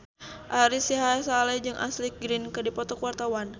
Ari Sihasale jeung Ashley Greene keur dipoto ku wartawan